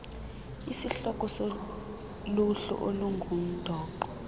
isihloko soluhlu olungundoqo